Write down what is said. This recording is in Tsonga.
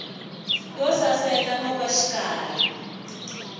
yo saseka no va xikarhi